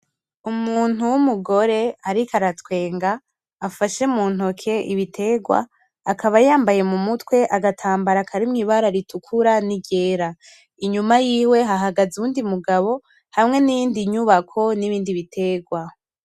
Umuntu w'umugore ariko aratwenga afashe muntoke ibitegwa akaba yambaye mumutwe agatambara karimwo ibara ritukura n'iryera. Inyuma yiwe hahagaze uwundi mugabo hamwe n'iyindi nyubako n'ibindi bitegwa.